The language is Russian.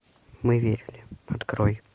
мы верили открой